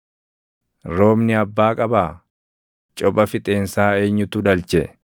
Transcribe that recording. Roobni abbaa qabaa? Copha fixeensaa eenyutu dhalche?